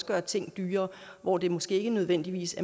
gøre ting dyrere hvor det måske ikke nødvendigvis